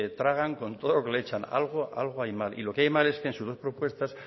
tragan con todo lo que le echan algo hay mal y lo que hay mal es que en sus dos propuestas